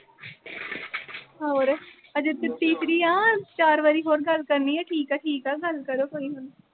ਹੋਰ ਅਜੇ ਤਾਂ ਤੀਸਰੀ ਆ। ਚਾਰ ਵਾਰੀ ਹੋਰ ਗੱਲ ਕਰਨੀ ਆ। ਠੀਕ ਆ-ਠੀਕ ਆ ਗੱਲ ਕਰੋ, ਕੋਈ ਹੁਣ